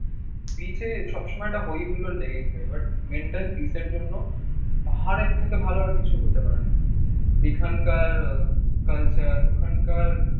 বিচে সব সময় একটা হইহুল্লোড় লেগেই থাকে। but mental peace এর জন্য পাহাড়ের থেকে ভালো আর কিছু হতে পারে না। এখানকার কালচার ওখানকার